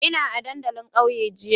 Ina a dandalin kauyen jiya.